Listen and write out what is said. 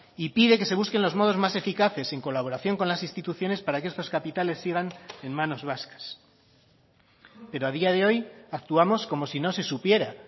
y pide que se busquen los modos más eficaces en colaboración con las instituciones para que estos capitales sigan en manos vascas pero a día de hoy actuamos como si no se supiera